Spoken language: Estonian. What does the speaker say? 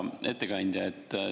Hea ettekandja!